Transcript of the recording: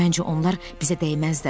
Məncə onlar bizə dəyməzdilər.